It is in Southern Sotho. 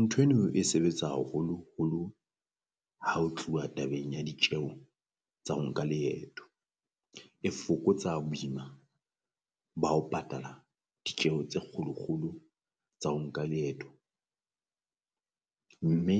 Ntho eno e sebetsa haholoholo ha o tluwa tabeng ya ditjeho tsa ho nka leeto, e fokotsa boima ba ho patala ditjeho tse kgolo kgolo tsa ho nka leeto, mme